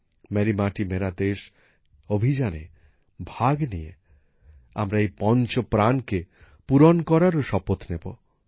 Mary Mati Mera Desh অভিযানে ভাগ নিয়ে আমরা এই পঞ্চ প্রণকে পূরণ করারও শপথ নেব